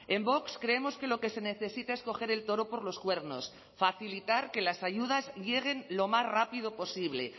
en vox creemos que lo que se necesita es coger el toro por los cuernos facilitar que las ayudas lleguen lo más rápido posible